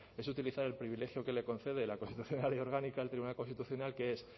es utilizar el privilegio que le concede la constitución y la ley orgánica del tribunal constitucional que es